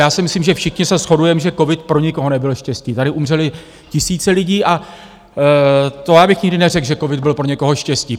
Já si myslím, že všichni se shodujeme, že covid pro nikoho nebyl štěstí, tady umřely tisíce lidí, a to já bych nikdy neřekl, že covid byl pro někoho štěstí.